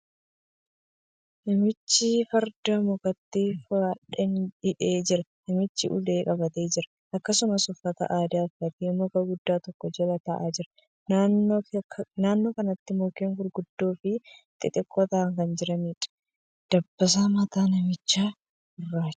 Namichi fardaa mukatti foo'adhaan hidhee jira. Namichi ulee qabatee jira. Akkasumas, uffata aadaa uffatee muka guddaa tokko jala taa'aa jira. Naannoo kanatti mukkeen gurguddoo fii xixiqqoo ta'an kan jiraniidha. Dabbasaan mataa namichaa gurraacha.